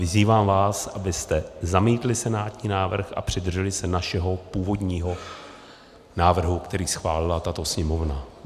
Vyzývám vás, abyste zamítli senátní návrh a přidrželi se našeho původního návrhu, který schválila tato Sněmovna.